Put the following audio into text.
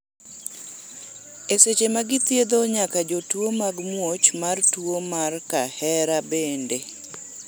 e seche ma githiedho nyaka jotuo mag muoch mar tuo mar kahera bende